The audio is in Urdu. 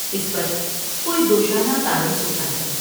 اس پر کوئی دوشالہ تانے سوتا ہے ۔